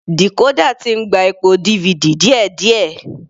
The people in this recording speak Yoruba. Decorder ti ń gba ipò DVD díẹ̀díẹ̀.